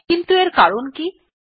কিন্তু এর কারণ কি160